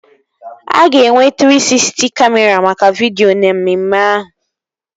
A ga-enwe Trii Sisty Kamịra maka vidio na mmemme ahụ